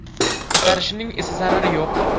Ko‘tarishining esa zarari yo‘q”.